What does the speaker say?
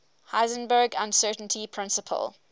heisenberg uncertainty principle